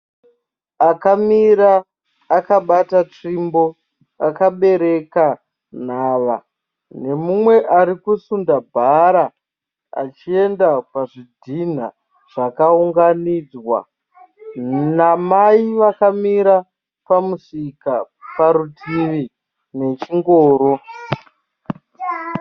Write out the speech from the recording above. Akamira akabata tsvimbo akabereka nhava. Nemumwe arikusunda bhara achienda pazvidhina zvakaunganidzwa namai vakamira pamusika parutivi nechingoro.